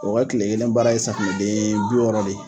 O ka kile kelen baara ye safunɛ den bi wɔɔrɔ de ye.